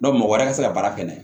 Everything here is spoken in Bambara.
mɔgɔ wɛrɛ tɛ se ka baara kɛ n'a ye